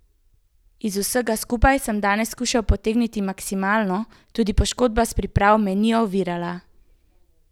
Iz vsega skupaj sem danes skušal potegniti maksimalno, tudi poškodba s priprav me ni ovirala.